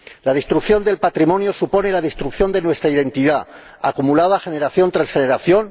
La destrucción del patrimonio supone la destrucción de nuestra identidad, acumulada generación tras generación.